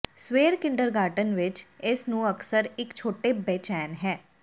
ਸਵੇਰ ਕਿੰਡਰਗਾਰਟਨ ਵਿੱਚ ਇਸ ਨੂੰ ਅਕਸਰ ਇੱਕ ਛੋਟੇ ਬੇਚੈਨ ਹੈ